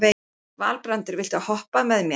Valbrandur, viltu hoppa með mér?